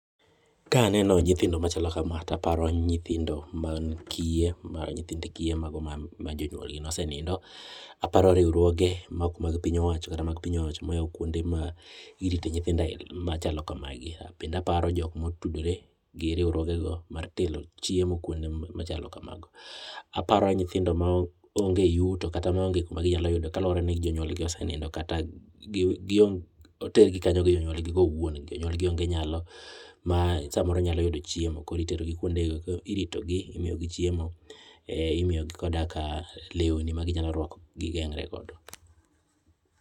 kaneno nyithindo machalo kama to aparo nyithindo mag kiye nyithindo mag kiye ma jonyuol gi nosenindo aparo riwruoge mar piny owacho kata ma ok mag piny owacho ma oyawo kuonde ma irite nyithindo aila gi machalo kama gi bende aparo jok motudore gi riwruoge go mar kelo chiemo kuonde machalo kamago, aparo nyithindo ma ong'e yuto kata ma ong'e kuma ginyalo yute kaluwore ni jonyuol gi osenindo kata oter gi kanyo nikech jonyuol gi ong'e nyalo ma samoro ginyalo yude chiemo koro itero gi kuonde go kendo irito gi ,imiyo gi chiemo imiyo gi koda ka lewni magi nyalo rwako gi gengre godo.